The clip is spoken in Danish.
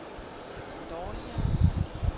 dårligere